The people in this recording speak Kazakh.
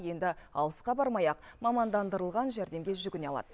енді алысқа бармай ақ мамандандырылған жәрдемге жүгіне алады